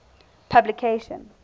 publication